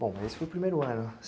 Bom, esse foi o primeiro ano.